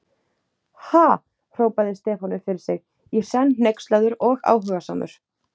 Ha?! hrópaði Stefán upp fyrir sig, í senn hneykslaður og áhugasamur.